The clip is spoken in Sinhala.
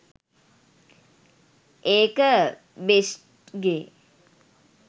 ඒක බ්‍රෙෂ්ට්ගේ .